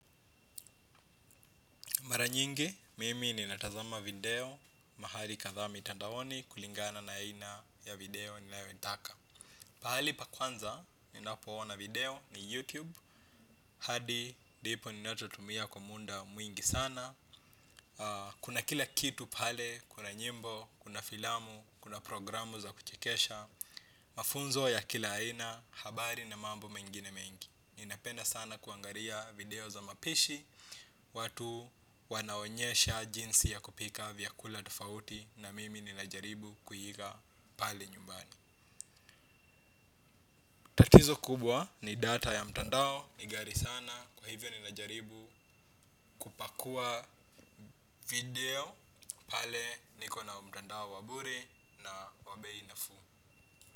Mara nyingi, mimi ninatazama video mahali kadhaa mitandaoni kulingana na aina ya video ninayoitaka. Pahali pa kwanza, ninapoona video ni YouTube. Hadi, ndipo ninachotumia kwa muda mwingi sana. Kuna kila kitu pale, kuna nyimbo, kuna filamu, kuna programu za kuchekesha. Mafunzo ya kila aina, habari na mambo mengine mengi. Ninapenda sana kuangaria video za mapishi. Watu wanaonyesha jinsi ya kupika vyakula tofauti. Na mimi ninajaribu kuiga pale nyumbani tatizo kubwa ni data ya mtandao. Ni ghari sana kwa hivyo ninajaribu kupakua video. Pale niko na mtandao wa bure na wa bei nafuu.